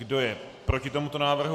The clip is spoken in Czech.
Kdo je proti tomuto návrhu?